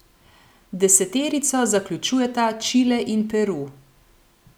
Deseterico zaključujeta Čile in Peru.